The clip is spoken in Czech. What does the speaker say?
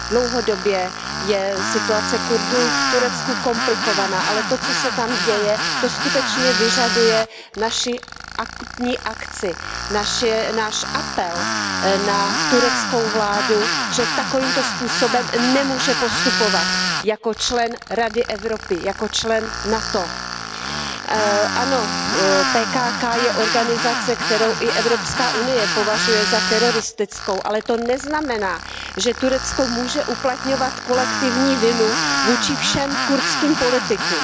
Dlouhodobě je situace Kurdů v Turecku komplikovaná, ale to, co se tam děje, to skutečně vyžaduje naši akutní akci, náš apel na tureckou vládu, že takovýmto způsobem nemůže postupovat jako člen Rady Evropy, jako člen NATO. Ano, PKK je organizace, kterou i Evropská unie považuje za teroristickou, ale to neznamená, že Turecko může uplatňovat kolektivní vinu vůči všem kurdským politikům.